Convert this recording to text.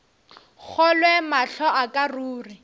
kgolwe mahlo a ka ruri